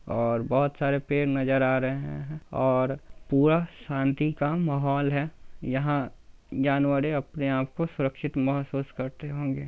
और बहुत सारे पेड़ नजर आ रहे हैं और पूरा शांति का माहौल है यहाँ जानवरे अपने आपको सुरक्षित महसूस करते होंगे।